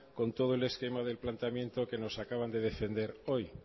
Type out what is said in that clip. con todo el esquema del planteamiento que nos acaban de defender hoy